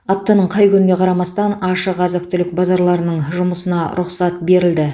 аптаның қай күніне қарамастан ашық азық түлік базарларының жұмысына рұқсат берілді